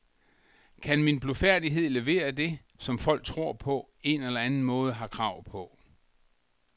Kan min blufærdighed levere det, som folk på en eller anden måde har krav på.